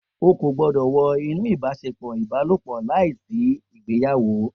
O ko gbọdọ wọ inú ibaṣepọ Ibalopọ láìsí ìgbéyàwó